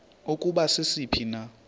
ukuba sisiphi na